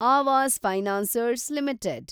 Awas financiers limited